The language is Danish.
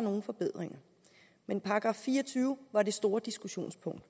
nogle forbedringer i men § fire og tyve var det store diskussionspunkt